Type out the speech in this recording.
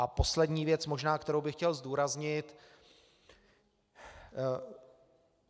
A poslední věc možná, kterou bych chtěl zdůraznit.